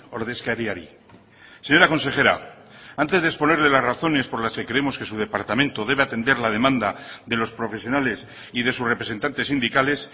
ordezkariari señora consejera antes de exponerle las razones por las que creemos que su departamento debe atender la demanda de los profesionales y de sus representantes sindicales